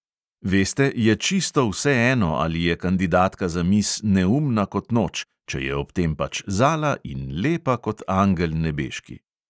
Veste, je čisto vseeno, ali je kandidatka za miss neumna kot noč, če je ob tem pač zala in lepa kot angel nebeški!